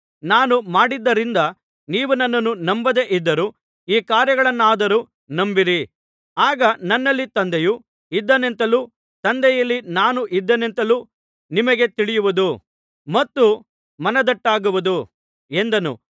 ನಾನು ಮಾಡಿದ್ದರಿಂದ ನೀವು ನನ್ನನ್ನು ನಂಬದೆ ಇದ್ದರೂ ಈ ಕಾರ್ಯಗಳನ್ನಾದರೂ ನಂಬಿರಿ ಆಗ ನನ್ನಲ್ಲಿ ತಂದೆಯು ಇದ್ದಾನೆಂತಲೂ ತಂದೆಯಲ್ಲಿ ನಾನು ಇದ್ದೇನೆಂತಲೂ ನಿಮಗೆ ತಿಳಿಯುವುದು ಮತ್ತು ಮನದಟ್ಟಾಗುವುದು ಎಂದನು